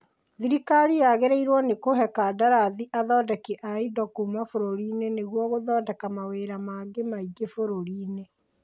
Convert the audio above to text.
Thirikari yagĩrĩirwo nĩ kũhe kandarathi athondeki a indo kuma bũrũri-inĩ nĩguo gũthondeka mawĩra mangĩ maingĩ bũrũri-inĩ